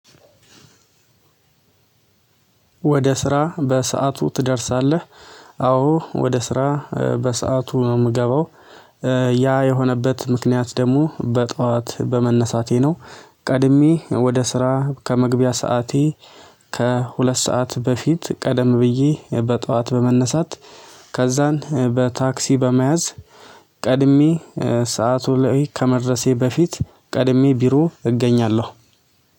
ወደ ስራ በሰአቱ ትደርሳለህ? አዎ ወደ ስራ በሰአቱ ነው የምገባው ያ የሆነበት ምክንያት ደግሞ በጧት በመነሳቴ ነው። ቀድሜ ወደ ስራ ከመግቢያ ሰዓቴ ከሁለት ሰዓት በፊት ቀደም ብዬ በጧት በመነሳት ከዛን በታክሲ በመያዝ ቀድሜ ሰዓቱ ላይ ከመድረሴ በፊት ቀድሜ ቢሮ እገኛለሁ